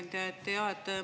Hea ettekandja!